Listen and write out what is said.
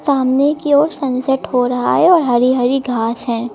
सामने की ओर सनसेट हो रहा है और हरी हरी घास है।